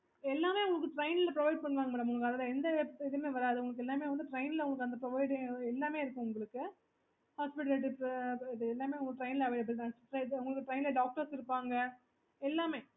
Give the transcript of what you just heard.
okay